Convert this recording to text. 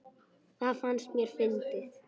Það fannst mér fyndið.